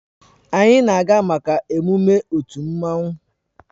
Anyị na-aga maka emume otu mmanwụ